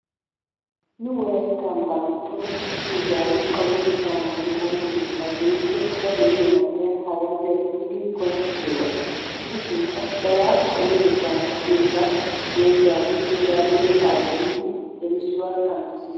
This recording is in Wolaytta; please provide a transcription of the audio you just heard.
Nu wolaytta ambaa giddon issi izzaawu payatettaa naagiyo ooso keettaa dooyikko ba de'iyo man'iya hagan days giidi qonccissiyoogaa gidishinkka Barati payatettaa naaagiyosaa dooyidaagee eraadoone xaabbiya biidi errissuwa kanttisis.